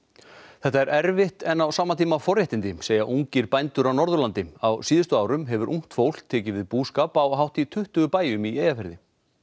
þetta er erfitt en á sama tíma forréttindi segja ungir bændur á Norðurlandi á síðustu árum hefur ungt fólk tekið við búskap á hátt í tuttugu bæjum í Eyjafirði